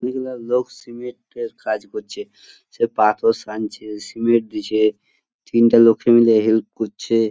বিভিন্ন লোক সিমেন্ট -এর কাজ করছে | সে পাথর সানছে সিমেন্ট দিচ্ছে | তিনটে লোকে মিলে হেল্প করছে।